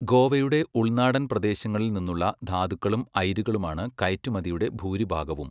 ഗോവയുടെ ഉൾനാടൻ പ്രദേശങ്ങളിൽ നിന്നുള്ള ധാതുക്കളും അയിരുകളുമാണ് കയറ്റുമതിയുടെ ഭൂരിഭാഗവും.